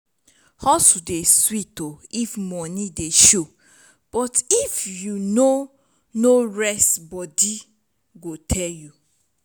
hustle dey sweet if money dey show but if you no no rest body go tell you